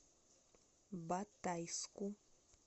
батайску